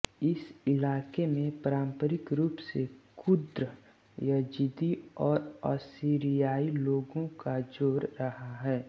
इस इलाक़े में पारंपरिक रूप से कुर्द यज़ीदी और असीरियाई लोगों का ज़ोर रहा है